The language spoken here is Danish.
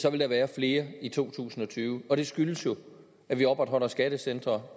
så vil der være flere i to tusind og tyve og det skyldes jo at vi opretholder skattecentre